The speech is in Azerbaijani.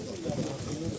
Yaxşı, yaxşı.